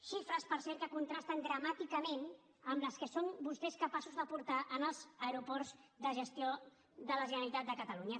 xifres per cert que contrasten dramàticament amb les que són vostès capaços de portar als aeroports de gestió de la generalitat de catalunya